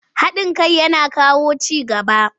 Haɗin kai yana kawo ci gaba.